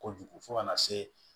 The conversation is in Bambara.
Kojugu fo ka na se